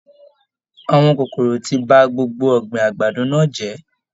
Àwọn kòkòrò tí bá gbogbo ọgbin àgbàdo náà jẹ.